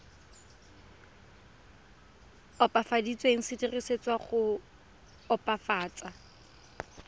opafaditsweng se dirisetswa go opafatsa